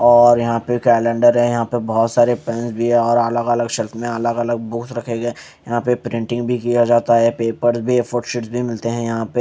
और यहाँ पे कैलेंडर है यहाँ पे बहोत सारे पेन भी है और अलग अलग शेल्फ में अलग अलग बुक्स रखे गए यहाँ पे प्रिंटिंग भी किया जाता है पेपर्स भी ऐ फोर शीट्स भी मिलते है यहाँ पे --